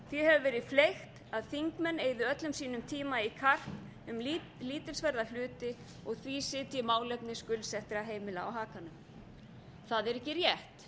því hefur verið fleygt að þingmenn eyði öllum sínum tíma í karp um lítilsverða hluti og því sitji málefni skuldsettra heimila á hakanum það er ekki